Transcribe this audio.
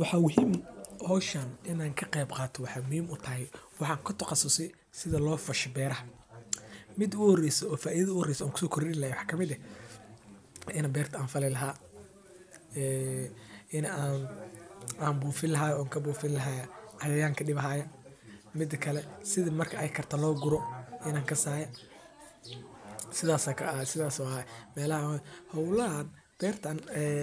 Waxa waye howshan inaan ka qeeb qaato waxaa kamid ah in beerta dan walbo waay soconi madama xolaha aay ubahan yihiin xirfado aay ku haboon tahay waana nafaqo leh waxaa kale oo muhiim u ah oo laga yaabo in ilkaha laga helo sir fudud lakin wax